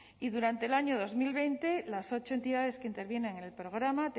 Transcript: y durante el año dos mil veinte las ocho entidades que intervienen en el programa